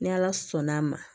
Ni ala sɔnn'a ma